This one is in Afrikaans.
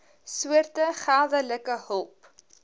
soorte geldelike hulp